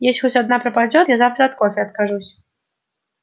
если хоть одна пропадёт я завтра от кофе откажусь